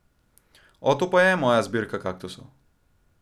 O, to pa je moja zbirka kaktusov.